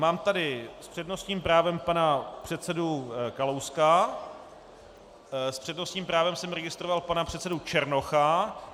Mám tady s přednostním právem pana předsedu Kalouska, s přednostním právem jsem registroval pana předsedu Černocha.